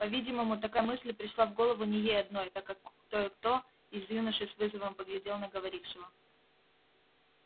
по-видимому такая мысль пришла в голову не ей одной так как кое кто из юношей с вызовом поглядел на говорившего